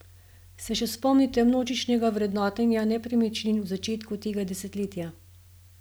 Se še spomnite množičnega vrednotenja nepremičnin v začetku tega desetletja?